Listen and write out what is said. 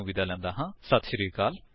ਇਸ ਟਿਊਟੋਰਿਅਲ ਵਿੱਚ ਸ਼ਾਮਿਲ ਹੋਣ ਲਈ ਧੰਨਵਾਦ